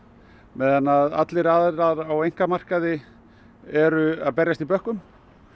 meðan allir aðilar á einkamarkaði eru að berjast í bökkum